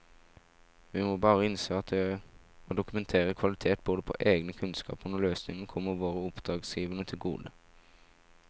Vi må bare innse at det å dokumentere kvalitet både på egne kunnskaper og løsninger kommer våre oppdragsgivere til gode.